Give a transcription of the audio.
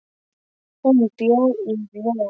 Hún bjó í ró.